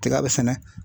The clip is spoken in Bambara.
Tiga bɛ sɛnɛ